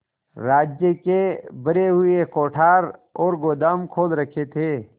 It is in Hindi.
राज्य के भरे हुए कोठार और गोदाम खोल रखे थे